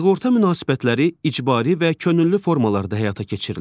Sığorta münasibətləri icbari və könüllü formalarda həyata keçirilir.